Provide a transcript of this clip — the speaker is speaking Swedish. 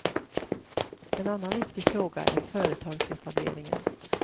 En annan viktig fråga är företagsetableringen.